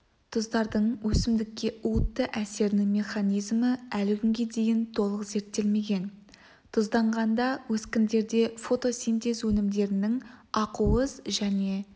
тұздардың өсімдікке уытты әсерінің механизмі әлі күнге дейін толық зерттелмеген тұзданғанда өскіндерде фотосинтез өнімдерінің ақуыз және